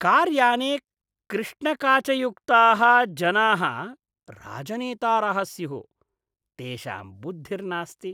कार्याने कृष्णकाचयुक्ताः जनाः राजनेतारः स्युः, तेषां बुद्धिर्नास्ति।